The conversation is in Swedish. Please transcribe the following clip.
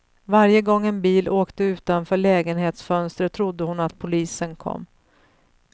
Varje gång en bil åkte utanför lägenhetsfönstret trodde hon att polisen kom.